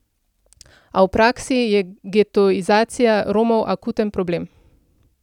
A v praksi je getoizacija Romov akuten problem.